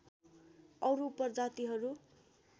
अरू उप जातिहरू